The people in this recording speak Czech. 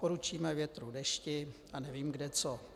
Poručíme větru, dešti a nevím kde co.